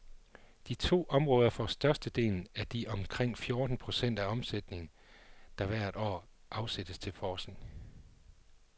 De to områder får størstedelen af de omkring fjorten procent af omsætningen, der hvert år afsættes til forskning.